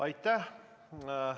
Aitäh!